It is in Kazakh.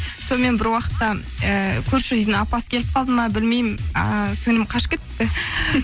сонымен бір уақытта ыыы көрші үйдің апасы келіп қалды ма білмеймін ыыы сіңілім қашып кетіпті